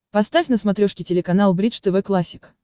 поставь на смотрешке телеканал бридж тв классик